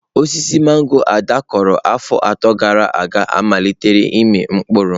Osisi mangọrọ Ada kụrụ afọ atọ gara aga amalitela ịmị mkpụrụ.